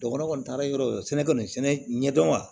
Dɔgɔtɔrɔ kɔni taara yɔrɔ sɛnɛ kɔni sɛnɛ ɲɛdɔn wa